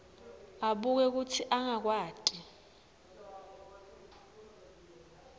abuke kutsi angakwati